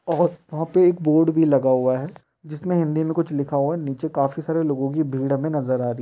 और वहाँ पे एक बोर्ड लगा हुआ है जिसमें हिंदी में कुछ लिखा हुआ है नीचे काफी सारे लोगो की भीड़ हमें नज़र आ रही --